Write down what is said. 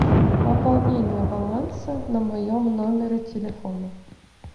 пополнение баланса на моем номере телефона